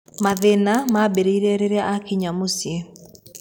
Mathĩna maambĩrĩirie rĩrĩa aakinya mũciĩ.